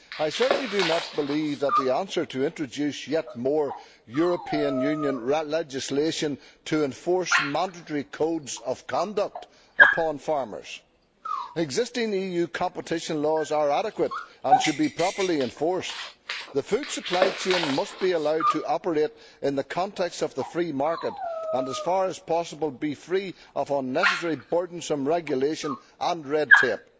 I certainly do not believe that the answer is to introduce yet more European Union legislation to enforce mandatory codes of conduct upon farmers. Existing EU competition laws are adequate and should be properly enforced. The food supply chain must be allowed to operate in the context of the free market and, as far as possible, be free of unnecessary burdensome regulation and red tape.